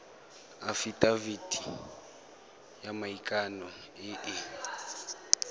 afitafiti ya maikano e e